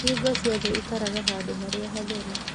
Hingo ciothe ikaraga handũ harĩa hatheru.